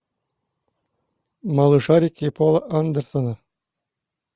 малышарики пола андерсона